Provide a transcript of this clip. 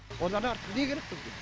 одан артық не керек бізге